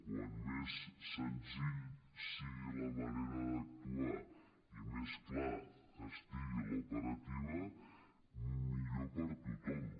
vull dir com més senzilla sigui la manera d’actuar i més clara estigui l’operativa millor per a tothom